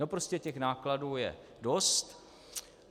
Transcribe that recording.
No prostě těch nákladů je dost.